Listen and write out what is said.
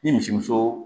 Ni misimuso